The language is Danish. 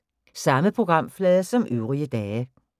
Samme programflade som øvrige dage